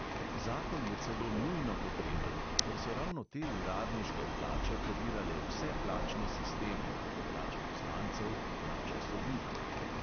Zakon je celo nujno potreben, ker so ravno te uradniške plače podirale vse plačne sisteme (plače poslancev, plače sodnikov).